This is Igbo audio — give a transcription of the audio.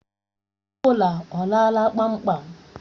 Ebola ọ lala kpamkpam?